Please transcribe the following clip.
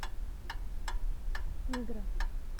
мигра